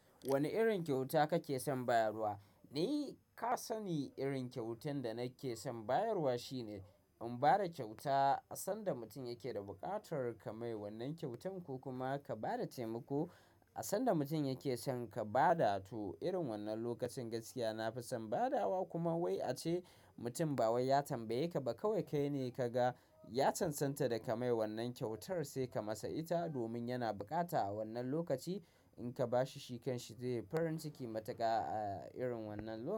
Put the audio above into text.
Wane irin kyauta kake son bayarwa? Ni ka sani irin kyautan da nake son bayarwa shine in ba da kyauta a san da mutum yake da buƙatar ka mai wannan kyautan ko kuma ka ba da taimako a san da mutum yake son ka ba da to irin wannan lokacin gaskiya nafi son badawa kuma wai ace mutum ba wai ya tambaye ka ba kawai kai ne ka ga ya cancanta da ka mai wannan kyautar sai ka masa ita domin yana bukata a wannan lokaci in ka ba shi shi kan shi zai yi farin ciki matuƙa a irin wannan lokaci.